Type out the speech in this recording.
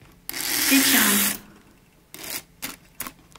сичан